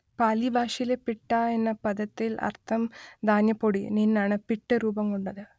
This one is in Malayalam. പാലി ഭാഷയിലെ പിട്ഠാ എന്ന പദത്തിൽ അർത്ഥം ധാന്യപ്പൊടി നിന്നാണ് പിട്ട് രൂപം കൊണ്ടത്